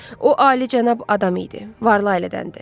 O alicənab adam idi, varlı ailədəndir.